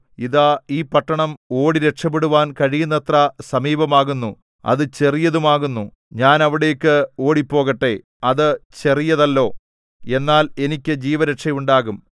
ഇതാ ഈ പട്ടണം ഓടിരക്ഷപ്പെടുവാൻ കഴിയുന്നത്ര സമീപമാകുന്നു അത് ചെറിയതുമാകുന്നു ഞാൻ അവിടേക്ക് ഓടിപ്പോകട്ടെ അത് ചെറിയതല്ലോ എന്നാൽ എനിക്ക് ജീവരക്ഷ ഉണ്ടാകും